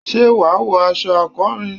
ṣé wà wọ aṣọ akọrin?